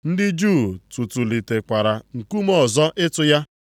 Ndị Juu tụtụlitekwara nkume ọzọ ịtụ ya.